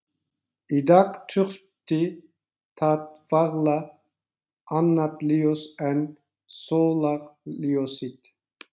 Í dag þurfti það varla annað ljós en sólarljósið.